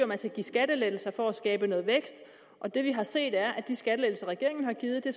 man skal give skattelettelser for at skabe noget vækst og det vi har set er at de skattelettelser regeringen har givet er